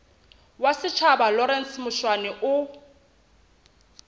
wa setjhaba lawrence mushwana o